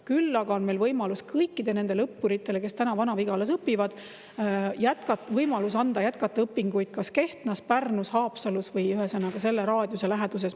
Küll aga on meil võimalik kõikidele nendele õppuritele, kes praegu Vana-Vigalas õpivad, anda võimalus jätkata õpinguid kas Kehtnas, Pärnus, Haapsalus või ühesõnaga, selle raadiuses.